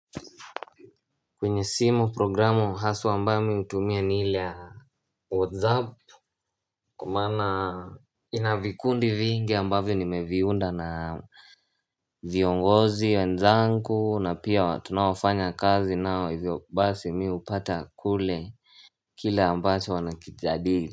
Kwenye simu programu haswa ambayo mi hutumia ni ile a Whatsapp Kwa maana ina vikundi vingi ambavyo nimeviunda na viongozi wenzangu na pia watu tunaofanya kazi nao hivyo basi mi hupata kule Kile ambacho wanakijadili.